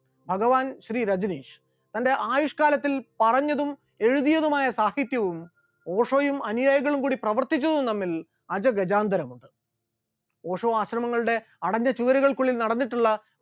ഭഗവാൻ ശ്രീ രജനീഷ് തന്റെ ആയുഷ്കാലത്തിൽ പറഞ്ഞതും എഴുതിയതുമായ സാഹിത്യവും ഓഷോയും അനുയായികളും കൂടി പ്രവർത്തിച്ചതും തമ്മിൽ അജഗജാന്തരമാണ്, ഓഷോ ആശ്രമങ്ങളുടെ അടഞ്ഞ ചുമരുകൾക്കുള്ളിൽ നടന്നിട്ടുള്ള